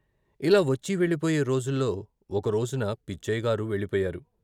ఇలా వచ్చి వెళ్ళిపోయే రోజుల్లో ఒకరోజున పిచ్చయ్యగారు వెళ్ళి పోయారు.